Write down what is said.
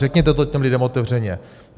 Řekněte to těm lidem otevřeně.